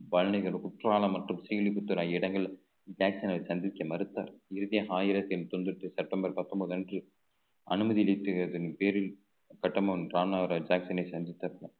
பழனிகள் குற்றாலம் மற்றும் இடங்கள் ஜாக்சனை சந்திக்க மறுத்தார் இறுதியாக ஆயிரத்தி தொண்ணூத்தி செப்டெம்பர் பத்தொன்பது அன்று அனுமதி அளித்ததன் பேரில் கட்டபொம்மன் ராமநாதபுரம் ஜாக்சனை சந்தித்த